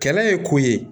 Kɛlɛ ye ko ye